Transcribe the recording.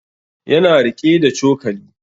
Ya na riƙe da cokali